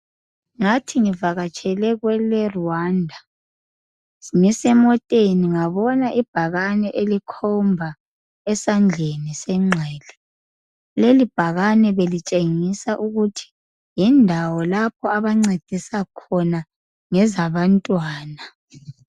Ngathi ngivakatshele kwele Rwanda ngisemoteni ngabona ibhakane elikhomba esandleni senxele lelibhakane belitshengisa ukuthi yindawo lapho abancedisa khona ngezabantwana.